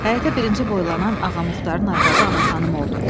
Həyətə birinci boylanan Ağamuxdarın arvadı Ana xanım oldu.